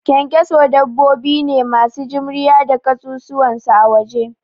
Ƙyanƙyaso dabbobi ne masu jimriya da kasusuwan su a waje